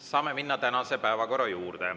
Saame minna tänase päevakorra juurde.